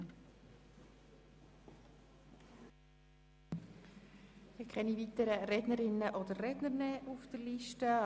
Es stehen keine weiteren Rednerinnen und Redner mehr auf der Liste.